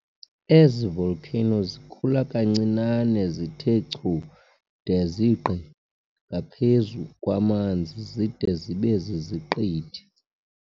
Ezi volcanoes zikhula kancinane zithe chu de zigqi ngaphezu kwamanzi zide zibe ziziqithi.